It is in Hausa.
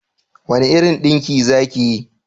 Wani irin dinki za ki yi?